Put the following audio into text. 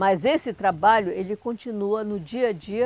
Mas esse trabalho, ele continua no dia a dia,